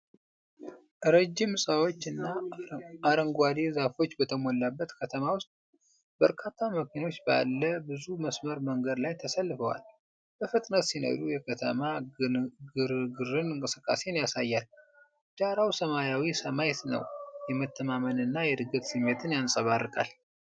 ረጅም ሕንፃዎች እና አረንጓዴ ዛፎች በተሞላበት ከተማ ውስጥ፣ በርካታ መኪኖች ባለ ብዙ መስመር መንገድ ላይ ተሰልፈው በፍጥነት ሲነዱ የከተማ ግርግርንና እንቅስቃሴን ያሳያል። ዳራው ሰማያዊ ሰማይ ነው፣ የመተማመንና የዕድገት ስሜትን ያንፀባርቃል።